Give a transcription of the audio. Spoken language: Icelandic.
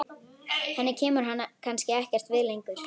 Henni kemur hann kannski ekkert við lengur.